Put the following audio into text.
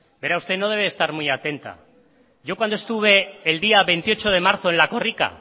usted no debe de estar muy atenta yo cuando estuve el veintiocho de marzo en la korrika